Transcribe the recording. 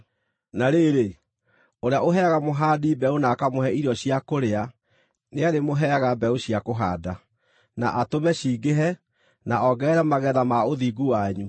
Na rĩrĩ, ũrĩa ũheaga mũhandi mbeũ na akamũhe irio cia kũrĩa, nĩarĩmũheaga mbeũ cia kũhaanda, na atũme cingĩhe, na ongerere magetha ma ũthingu wanyu.